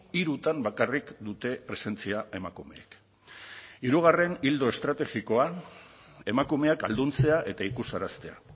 hirutan bakarrik dute presentzia emakumeek hirugarren ildo estrategikoa emakumeak ahalduntzea eta ikusaraztea